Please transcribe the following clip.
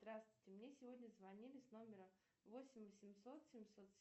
здравствуйте мне сегодня звонили с номера восемь восемьсот семьсот